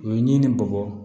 U ye ɲinini bɔgɔ